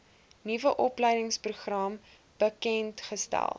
nuwe opleidingsprogram bekendgestel